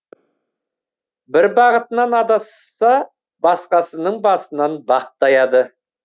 бірі бағытынан адасса басқасының басынан бақ таяды